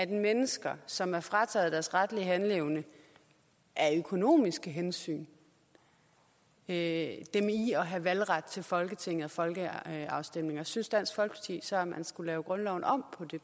mennesker som er frataget deres retlige handleevne af økonomiske hensyn at have valgret til folketinget og folkeafstemninger synes dansk folkeparti så at man skal lave grundloven om